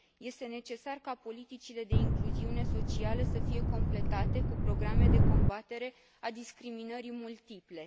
Este necesar ca politicile de incluziune socială să fie completate cu programe de combatere a discriminării multiple.